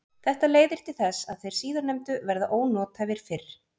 Þetta leiðir til þess að þeir síðarnefndu verða ónothæfir fyrr.